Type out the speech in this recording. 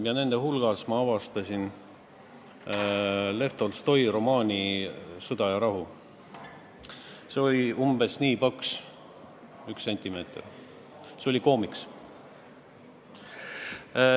Nende raamatute hulgast ma leidsin Lev Tolstoi romaani "Sõda ja rahu", see oli umbes ühe sentimeetri paksune, nagu koomiks.